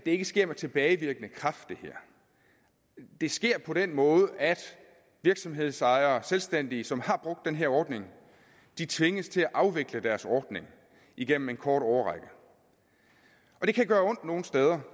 ikke sker med tilbagevirkende kraft det sker på den måde at virksomhedsejere og selvstændige som har brugt den her ordning tvinges til at afvikle deres ordning igennem en kort årrække det kan nogle steder